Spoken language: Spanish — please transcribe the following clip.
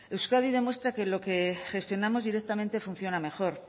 euskadi demuestra que lo que gestionamos directamente funciona mejor